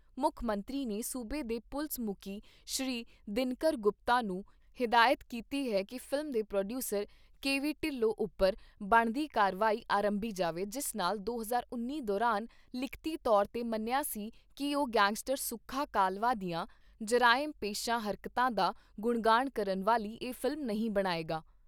ਮੁੱਖ ਮੰਤਰੀ ਨੇ ਸੂਬੇ ਦੇ ਪੁਲਸ ਮੁਕੀ ਸ਼੍ਰੀ ਦਿਨਕਰ ਗੁਪਤਾ ਨੂੰ ਹਿਦਾਇਤ ਕੀਤੀ ਹੈ ਕਿ ਫ਼ਿਲਮ ਦੇ ਪ੍ਰੋਡਯੂਸਰ ਕੇ ਵੀ ਢਿੱਲੋਂ ਉੱਪਰ ਬਣਦੀ ਕਾਰਵਾਈ ਅਰੰਭੀ ਜਾਵੇ ਜਿਸ ਸਾਲ ਦੋ ਹਜ਼ਾਰ ਉੱਨੀ ਦੌਰਾਨ ਲਿਖਤੀ ਤੌਰ ਤੇ ਮੰਨਿਆ ਸੀ ਕਿ ਉਹ ਗੈਂਗਸਟਰ ਸੁੱਖਾ ਕਾਹਲਵਾਂ ਦੀਆਂ ਜਰਾਇਮ ਪੇਸ਼ਾ ਹਰਕਤਾਂ ਦਾ ਗੁਣਗਾਣ ਕਰਨ ਵਾਲੀ ਇਹ ਫ਼ਿਲਮ ਨਹੀਂ ਬਣਾਏਗਾ।